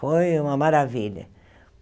Foi uma maravilha.